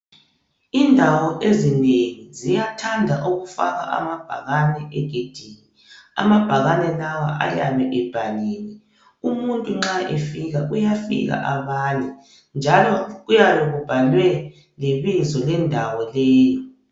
Indawo ezinengi ziyathanda ukufaka amabhakane egedini. Amabhakane lawa ayabe ebhaliwe. Umuntu nxa efika uyafika abale njalo kuyabe kubhalwe lebizo lendawo leyo.